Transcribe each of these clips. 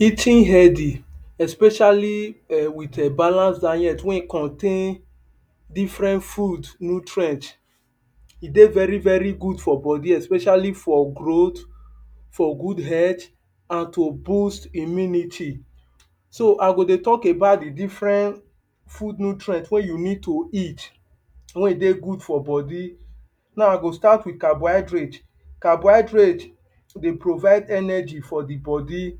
eating healthy especially um with um balance diet wey e contain different food nutrient e dey very very good for body especially for growth for good health and to boost immunity so ah go de talk about the different food nutrient wey yu need to eat wey e de good for body now i go start with carbonhydrate carbonhydrate de provide energy for the body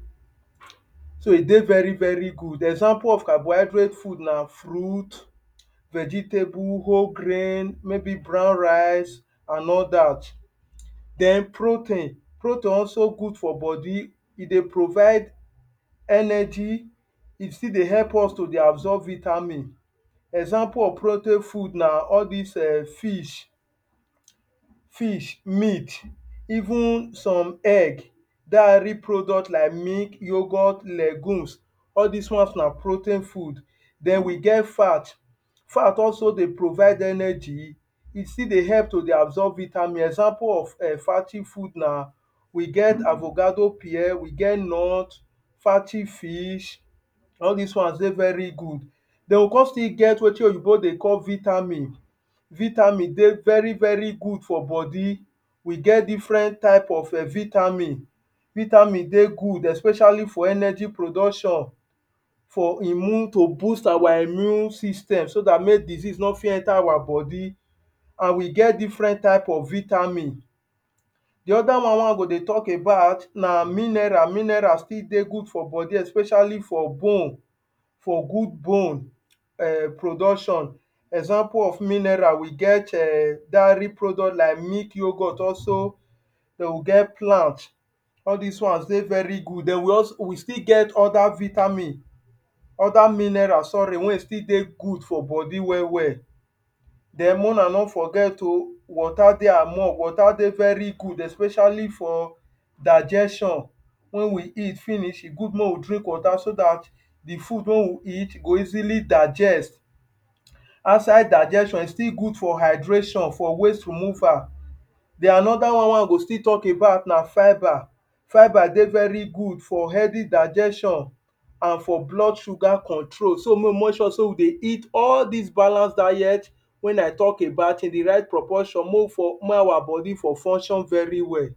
de veri veri good example of carbinhydrate food na fruit vegetabl, whole grain maybe brown rice and all that den protein protein also good for body e de provide energy e still de help us to absorb vitamin example of protein food na all these um Fish fish meat even some egg diary product like milk yougburt legoons all these ones na protein food den we get fat fat also de provide energy e still de help to de absorb vitamins example of fatty food na we get avocado pear we get nut fatty fish all these ones de veri good den we come still get wetin oyibo de call vitamin vitamin de very very good for body we get different type of vitamin vitamin dey good especially for energy production for immne to boost our immune system so that make disease no fit enter our body and we get different type of vitamin the other one wey i go de talk na mineral mineral still de good for body especially for bones for good bone um production example of mineral we get[um]diary product like milk yoghurt also dey get plant all this ones de very good we also we still get other vitamin other mineral sorry wey e still de good for body well well then make una no forget o water de among water de very good especially for digestion when we eat finish e good make we drink water so dat the food wey we eat go easily digest after digestion e still good for hydration for waste removal den anoda one wey i go still talk about na fibre fibre de very good for heavy digestion and for blood sugar control so make we make sure say we dey eat all these balanced diet wey i talk about in the right proportion make we for make our body for function well